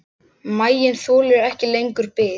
Maginn þolir ekki lengur bið.